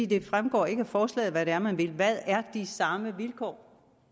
det fremgår ikke af forslaget hvad det er man vil hvad er de samme vilkår